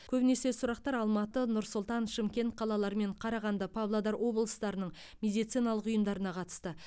көбінесе сұрақтар алматы нұр сұлтан шымкент қалалары мен қарағанды павлодар облыстарының медициналық ұйымдарына қатысты